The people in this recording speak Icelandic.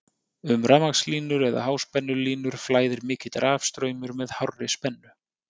um rafmagnslínur eða háspennulínur flæðir mikill rafstraumur með hárri spennu